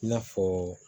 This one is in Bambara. I n'a fɔ